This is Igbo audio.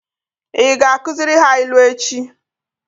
Ị ga-akụziri ha ilu echi?